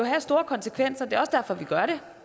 have store konsekvenser det er også derfor vi gør det